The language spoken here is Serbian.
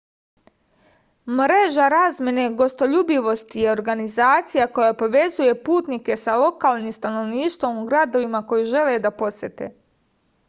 mreža razmene gostoljubivosti je organizacija koja povezuje putnike sa lokalnim stanovništvom u gradovima koje žele da posete